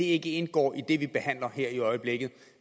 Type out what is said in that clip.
ikke indgår i det vi behandler her i øjeblikket